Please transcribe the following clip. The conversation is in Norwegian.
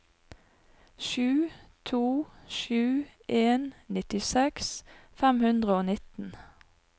sju to sju en nittiseks fem hundre og nitten